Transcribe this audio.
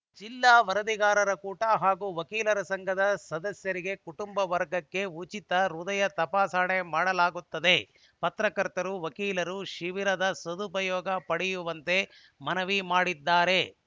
ಜಿಲ್ಲಾ ವರದಿಗಾರರ ಕೂಟ ಹಾಗೂ ವಕೀಲರ ಸಂಘದ ಸದಸ್ಯರಿಗೆ ಕುಟುಂಬ ವರ್ಗಕ್ಕೆ ಉಚಿತ ಹೃದಯ ತಪಾಸಣೆ ಮಾಡಲಾಗುತ್ತದೆ ಪತ್ರಕರ್ತರು ವಕೀಲರು ಶಿಬಿರದ ಸದುಪಯೋಗ ಪಡೆಯುವಂತೆ ಮನವಿ ಮಾಡಿದ್ದಾರೆ